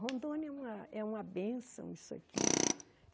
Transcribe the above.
Rondônia é uma é uma bênção, isso aqui.